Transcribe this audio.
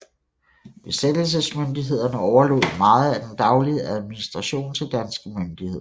Besættelsesmyndighederne overlod meget af den daglige administration til danske myndigheder